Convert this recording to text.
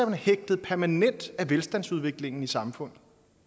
man hægtet permanent af velstandsudviklingen i samfundet